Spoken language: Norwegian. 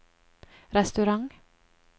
restaurant